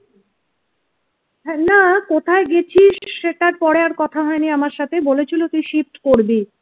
না কোথায় গেছিস সেটা পরে আর কথা হয়নি আমার সাথে বলেছিল তুই shift করবি।